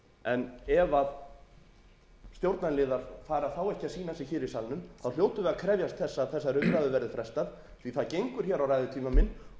en ef stjórnarliðar fara þá ekki að sýna sig hér í salnum hljótum við að krefjast þess að þessari umræðu verði frestað